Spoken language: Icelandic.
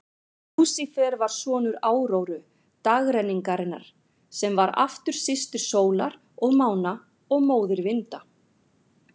Lúsífer var sonur Áróru, dagrenningarinnar, sem var aftur systir sólar og mána og móðir vinda.